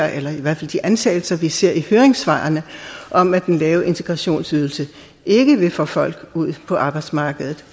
eller i hvert fald de antagelser vi ser i høringssvarene om at den lave integrationsydelse ikke vil få folk ud på arbejdsmarkedet